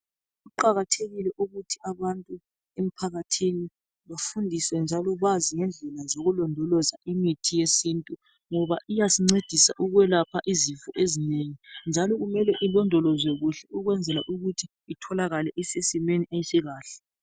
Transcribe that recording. Kuqakathekile ukuthi abantu emphakathini befundiswe njalo bazi ukulondoloza imithi yesintu ngoba iyasincedisa ukwelapha izifo ezinengi njalo kumele ilondolozwe kuhle ukuze itholakale isesimweni esikahle